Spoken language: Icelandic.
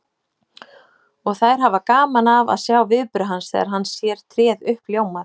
Og þær hafa gaman af að sjá viðbrögð hans þegar hann sér tréð uppljómað.